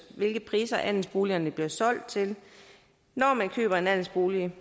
hvilke priser andelsboligerne bliver solgt til når man køber en andelsbolig